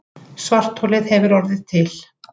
Svartholið hefur orðið til.